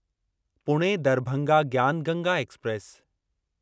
Pune Darbhanga Gyan Ganga express